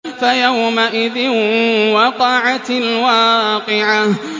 فَيَوْمَئِذٍ وَقَعَتِ الْوَاقِعَةُ